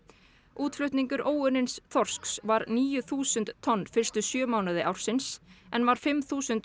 útflutningur óunnins þorsks var níu þúsund tonn fyrstu sjö mánuði ársins en var fimm þúsund